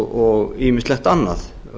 og ýmislegt annað